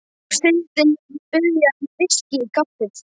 Og Syndin mun biðja um VISKÍ í kaffið.